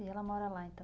E ela mora lá, então?